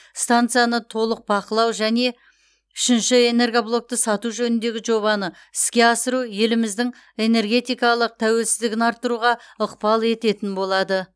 стансаны толық бақылау жән үшінші энергоблокты сату жөніндегі жобаны іске асыру еліміздің энергетикалық тәуелсіздігін арттыруға ықпал ететін болады